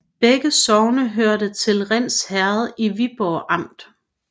Begge sogne hørte til Rinds Herred i Viborg Amt